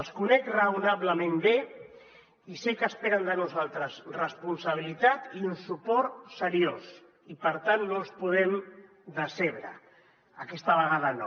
els conec raonablement bé i sé que esperen de nosaltres responsabilitat i un suport seriós i per tant no els podem decebre aquesta vegada no